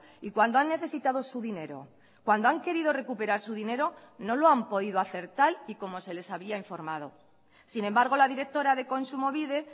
y cuando han necesitado su dinero cuando han querido recuperar su dinero no lo han podido hacer tal y como se les había informado sin embargo la directora de kontsumobide